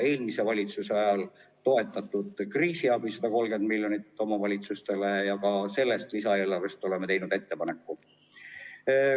Eelmise valitsuse ajal andsime omavalitsustele 130 miljonit eurot kriisiabi ja me oleme teinud ettepaneku ka sellest lisaeelarvest omavalitsusi toetada.